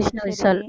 Vishnu Vishal